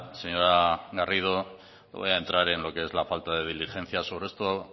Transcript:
señora garrido no voy a entrar en los que es la falta de diligencia sobre esto